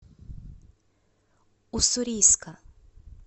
уссурийска